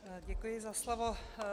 Děkuji za slovo.